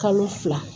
Kalo fila